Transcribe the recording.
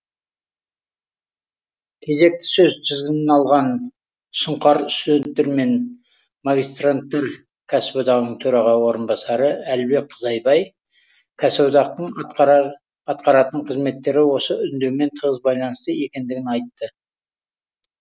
кезекті сөз тізгінін алған сұңқар студенттер мен магистранттар кәсіподағының төраға орынбасары әлібек қызайбай кәсіподақтың атқаратын қызметтері осы үндеумен тығыз байланысты екендігін айтты